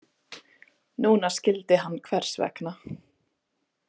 Núna skildi hann hvers vegna.